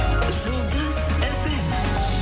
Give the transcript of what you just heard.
жұлдыз фм